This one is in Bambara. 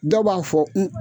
Dɔ b'a fɔ n